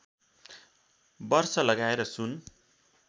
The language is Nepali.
वर्ष लगाएर सुन